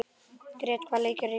Grét, hvaða leikir eru í kvöld?